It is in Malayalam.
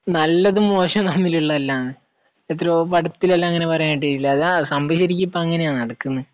നല്ലതും മോശവും തമ്മിലുള്ളതല്ല. എത്രയോ പടത്തിൽ അതിൽ എല്ലാം അങ്ങനെ പറയുന്നുണ്ട്. സംഭവം ശരിക്കും അങ്ങനെയാണ് ഇപ്പോൾ നടക്കുന്നത്